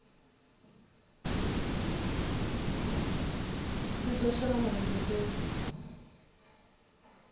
i do shela mulenzhe fhedzi